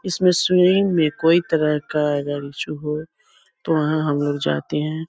इसमें सिम में कोई तरह का अगर इसु हो तो वहाँ हम लोग जाते हैं।